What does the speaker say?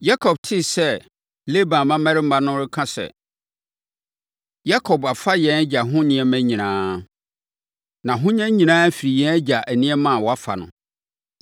Yakob tee sɛ Laban mmammarima no reka sɛ, “Yakob afa yɛn agya ho nneɛma nyinaa. Nʼahonya nyinaa firi yɛn agya nneɛma a wafa no.”